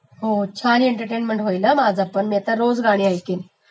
हो छान एंटर्टेन्मेंट होईल हा माझी, मी पण आता रोज गाणी ऐकीन